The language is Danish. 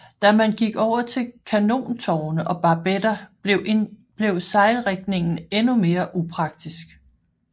Da man gik over til kanontårne og barbetter blev sejlrigningen endnu mere upraktisk